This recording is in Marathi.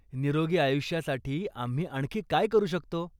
निरोगी आयुष्यासाठी आम्ही आणखी काय करू शकतो?